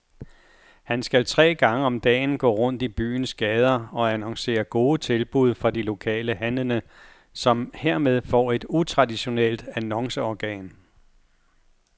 Han skal tre gange om dagen gå rundt i byens gader og annoncere gode tilbud fra de lokale handlende, som hermed får et utraditionelt annonceorgan.